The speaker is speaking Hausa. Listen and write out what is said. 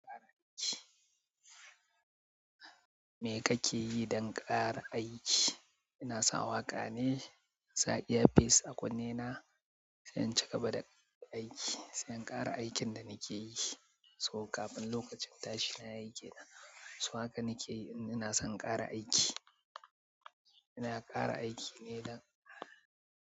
Me kake yi don ƙara aiki? Ina sa waƙa ne, in sa iyafis a kunne na sai in cika bada aiki, sai in ƙara aikin da nake yi. To kafin lokacin tashi na yayi kena, so haka nake yi, in ina son in ƙara aiki. Ina ƙara aiki ne dan.